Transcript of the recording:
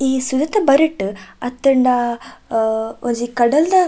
ಈ ಸುದೆತ ಬರಿಟ್ ಅತ್ತ್ಂಡ ಒಂಜಿ ಕಡಲ್ದ.